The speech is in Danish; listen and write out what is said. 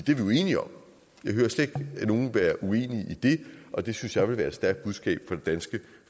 jo enige om jeg hører slet ikke nogen være uenige i det og det synes jeg ville være et stærkt budskab fra det danske